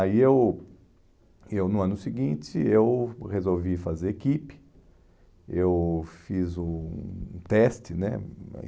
Aí eu, eu no ano seguinte, eu resolvi fazer equipe, eu fiz um um teste, né?